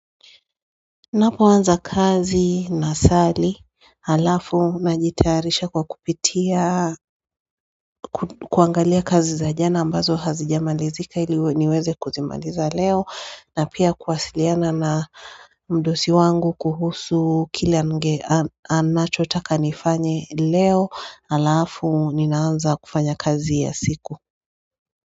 Napo anza kazi na sali Alafu najitaarisha kwa kupitia kuangalia kazi za jana ambazo hazijamalizika iliweze kuzimaliza leo na pia kuwasiliana na mdosi wangu kuhusu kila nge anacho taka nifanye leo alafu ninaanza kufanya kazi ya siku.